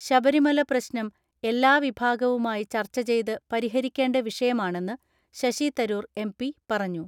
ശബരിമല പ്രശ്നം എല്ലാ വിഭാഗവുമായി ചർച്ചചെയ്ത് പരിഹരിക്കേണ്ട വിഷയമാണെന്ന് ശശി തരൂർ എം.പി പറഞ്ഞു.